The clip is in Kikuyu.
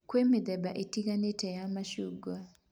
Kwĩ mĩthemba ĩtiganĩte ya macungwa